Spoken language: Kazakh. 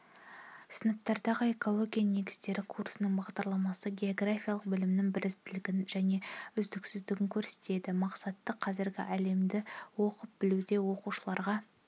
сыныптардағы экология негіздері курсының бағдарламасы географиялық білімнің бірізділігін және үздіксіздігін көрсетеді мақсаты қазіргі әлемді оқып-білуде оқушыларға